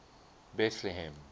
betlehem